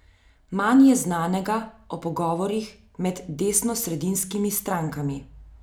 Manj je znanega o pogovorih med desnosredinskimi strankami.